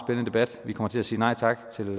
meget spændende vi kommer til at sige nej tak til